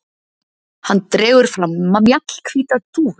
Hann dregur fram mjallhvíta dúfu.